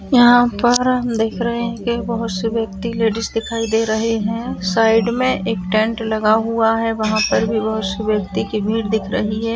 यहाँ पर हम देख रहे हैं की बहुत से व्यक्ति लेडिस दिखाई दे रहे हैं साइड में एक टेंट लगा हुआ है वहाँ पर भी बहुत से व्यक्ति की भीड़ दिख रही हैं ।